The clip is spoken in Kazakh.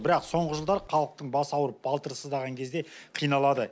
бірақ соңғы жылдары халықтың басы ауырып балтыры сыздаған кезде қиналады